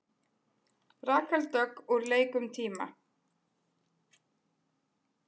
Rakel Dögg úr leik um tíma